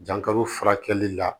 Dankaro furakɛli la